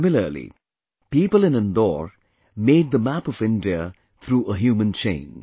Similarly, people in Indore made the map of India through a human chain